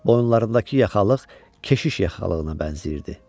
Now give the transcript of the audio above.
Boyunlarındakı yaxalıq keşiş yaxalığına bənzəyirdi.